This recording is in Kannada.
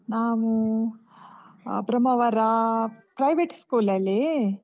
ನಾನೂ ಆಹ್ ಬ್ರಹ್ಮಾವರ private school ಅಲ್ಲಿ.